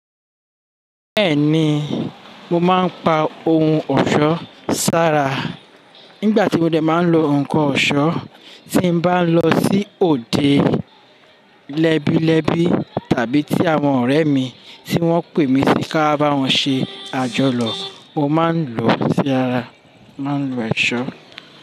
Bẹ́ẹ̀ ni, mo máa ń pa ohun ọ̀ṣọ́ sára nígbà tí mo dẹ̀ máa ń lo nǹkan ọ̀ṣọ́, tí mo bá ń lọ sí òde lẹ́bílẹ́bí tàbí tí àwọn ọ̀rẹ́ mi tí wọ́n pè mí sí ká bá wọn ṣe àjọyo. Mo máa ń lo sí ara, màá ń lo èṣó.